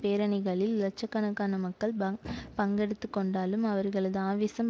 பேரணிகளில் லட்ச கணக்கான மக்கள் பங்பங்கெடுத்துக்கொண்டாலும் அவர்களது ஆவேசம்